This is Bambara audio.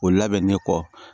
O labɛnnen kɔ